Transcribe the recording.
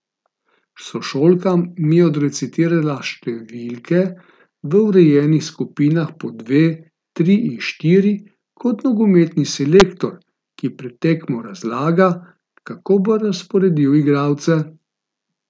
Sošolka mi je odrecitirala številke v urejenih skupinah po dve, tri in štiri, kot nogometni selektor, ki pred tekmo razlaga, kako bo razporedil igralce.